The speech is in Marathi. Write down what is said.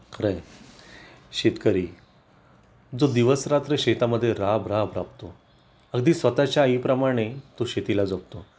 खरंय शेतकरी, जो दिवस रात्र शेतामध्ये राबराब राब तो अगदी स्वतःच्या आई प्रमाणे तो शेतीला जपतो